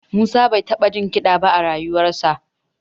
Musa bai taɓa jin kiɗa ba a rayuwarsa